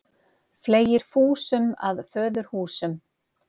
Fleygir fúsum að föðurhúsum.